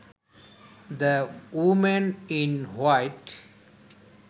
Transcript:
the woman in white